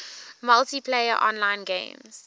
multiplayer online games